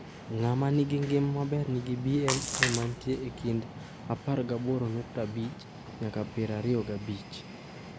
Ng’at ma nigi ngima maber nigi BMI mantie e kind 18.5 nyaka 25.